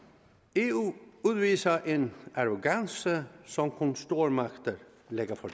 eu udviser en arrogance som kun stormagter lægger for